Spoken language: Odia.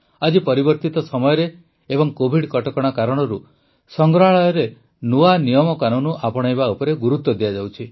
ଆଜି ପରିବର୍ତ୍ତିତ ସମୟରେ ଏବଂ କୋଭିଡ କଟକଣା କାରଣରୁ ସଂଗ୍ରହାଳୟରେ ନୂଆ ନିୟମକାନୁନ ଆପଣାଇବା ଉପରେ ଗୁରୁତ୍ୱ ଦିଆଯାଉଛି